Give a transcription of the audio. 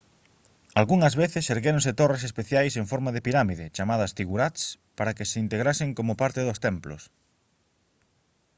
algunhas veces erguéronse torres especiais en forma de pirámide chamadas ziggurats para que se integrasen como parte dos templos